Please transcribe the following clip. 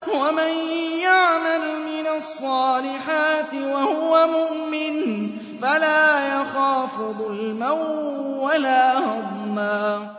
وَمَن يَعْمَلْ مِنَ الصَّالِحَاتِ وَهُوَ مُؤْمِنٌ فَلَا يَخَافُ ظُلْمًا وَلَا هَضْمًا